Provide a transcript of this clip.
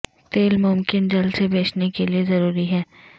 تیل ممکن جل سے بچنے کے لیے ضروری ہے